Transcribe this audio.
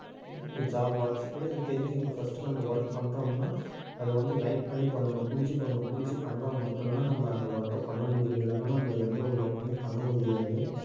பத்தி நம்ம தெரிஞ்சுக்கணும் first நம்ம work பண்றோம்ன்னா அது வந்து like பண்ணி பண்ணணும். புடிச்சு பண்ணணும். புடிச்சு பண்ணா மட்டும்தான் நம்ம அந்த work அ பண்ண முடியும். இல்லன்னா நம்ம எந்த ஒரு work மே பண்ண முடியாது